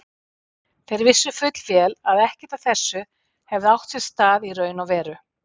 Þeir vissu fullvel að ekkert af þessu hefði átt sér stað í raun og veru.